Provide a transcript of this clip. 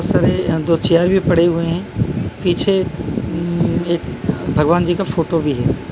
Sir ये अंदर chair भी पड़े हुए हैं पीछे म एक भगवान जी का फोटो भी है।